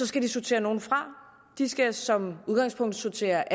skal de sortere nogle fra de skal som udgangspunkt sortere